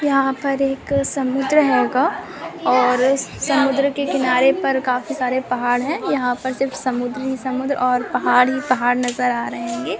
यहपै एक समुद्र हेगा। और उस समुद्र के किनारे पर काफी सारे पहाड़ है। यहापर सिर्फ समुद्र ही समुद्र और पहाड ही पहाड़ नज़र आ रहे हेंगे।